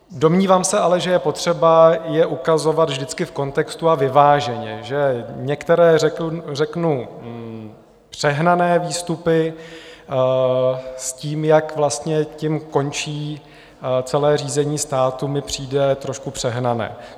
Domnívám se ale, že je potřeba je ukazovat vždycky v kontextu a vyváženě, že některé řeknu přehnané výstupy s tím, jak vlastně tím končí celé řízení státu, mi přijde trošku přehnané.